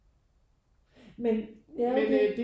Men ja okay